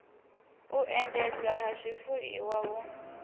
u endedzwa ha zwifuiwa hu